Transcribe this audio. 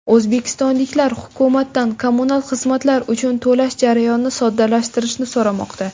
O‘zbekistonliklar hukumatdan kommunal xizmatlar uchun to‘lash jarayonini soddalashtirishni so‘ramoqda.